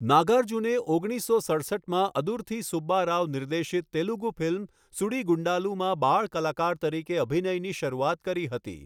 નાગાર્જુને ઓગણીસસો સડસઠમાં અદુર્થી સુબ્બા રાઓ નિર્દેશિત તેલુગુ ફિલ્મ 'સુડીગુન્ડાલુ'માં બાળ કલાકાર તરીકે અભિનયની શરૂઆત કરી હતી.